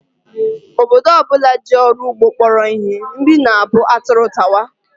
Obodo ọ bụla ji ọrụ ugbo kpọrọ ihe, nri na-abụ atụrụ tawa